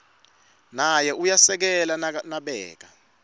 naye uyasekela nabeka